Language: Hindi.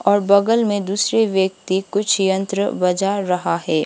और बगल में दूसरे व्यक्ति कुछ यंत्र बजा रहा है।